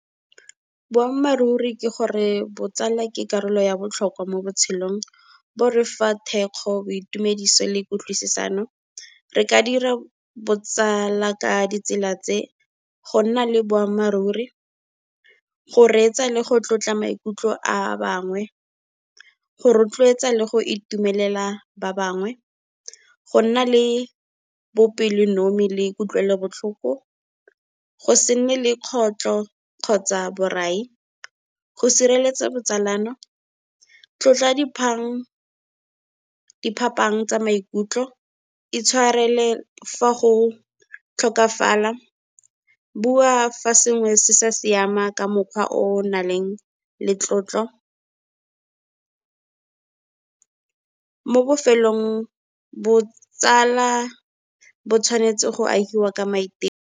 Boammaaruri ke gore botsala ke karolo ya botlhokwa mo botshelong, bo refa thekgo, boitumediso le kutlwisisano. Re ka dira botsala ka ditsela tse, go nna le boammaaruri, go reetsa le go tlotla maikutlo a ba bangwe, go rotloetsa le go itumelela ba bangwe, go nna le bopelonomi le kutlwelobotlhoko, go se nne le kgotlho kgotsa borai, go sireletsa botsalano, tlotla diphapang tsa maikutlo, itshwarele fa go tlhokafala, bua fa sengwe se sa siama ka mokgwa o nang le tlotlo. Mo bofelong, botsala bo tshwanetse go ahiwa ka maiteko.